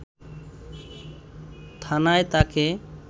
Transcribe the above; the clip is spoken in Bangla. থানায় তাকে